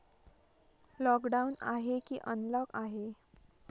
Lockdown आहे की unlock आहे?